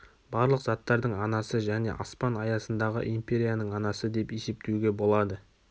барлық заттардың анасы және аспан аясындағы империяның анасы деп есептеуге болады